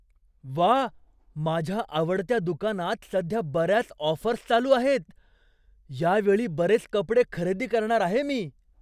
व्वा! माझ्या आवडत्या दुकानात सध्या बऱ्याच ऑफर्स चालू आहेत. यावेळी बरेच कपडे खरेदी करणार आहे मी.